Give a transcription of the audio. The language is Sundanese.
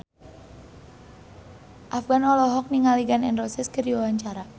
Afgan olohok ningali Gun N Roses keur diwawancara